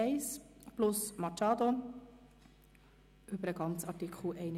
Dies tun wir, indem wir über den Streichungsantrag abstimmen.